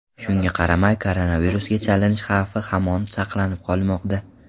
Shunga qaramay koronavirusga chalinish xavfi hamon saqlanib qolmoqda.